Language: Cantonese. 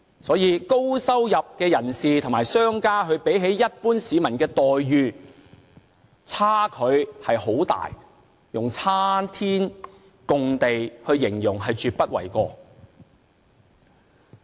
所以高收入人士和商家較一般市民的待遇相差甚遠，以"差天共地"來形容絕不為過。